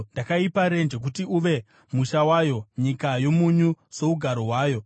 Ndakaipa renje kuti uve musha wayo, nyika yomunyu sougaro hwayo.